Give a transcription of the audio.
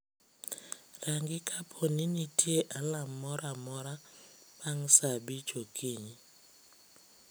rangi kapo ni nitie alarm moro amora bang' saa abich okinyi